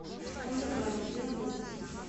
монте карло где находится